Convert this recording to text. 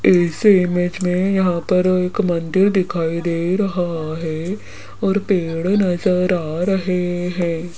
इस इमेज में यहां पर एक मन्दिर दिखाई दे रहा है और पेड़ नजर आ रहे हैं।